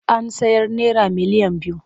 An sayar naira miliyan biyu.